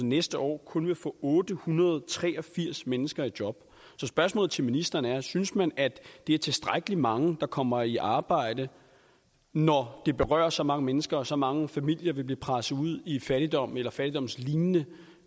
næste år kun vil få otte hundrede og tre og firs mennesker i job så spørgsmålet til ministeren er synes man at det er tilstrækkelig mange der kommer i arbejde når det berører så mange mennesker og så mange familier vil blive presset ud i fattigdom eller fattigdomslignende